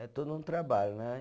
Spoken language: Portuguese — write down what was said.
É todo um trabalho, né?